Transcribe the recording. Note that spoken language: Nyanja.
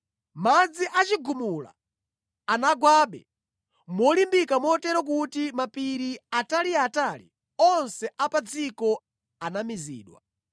Madzi a chigumula anabwerabe molimbika motero kuti mapiri ataliatali onse a pa dziko anamizidwa.